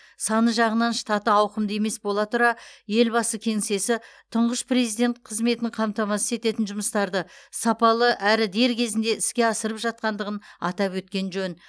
саны жағынан штаты ауқымды емес бола тұра елбасы кеңсесі тұңғыш президент қызметін қамтамасыз ететін жұмыстарды сапалы әрі дер кезінде іске асырып жатқандығын атап өткен жөн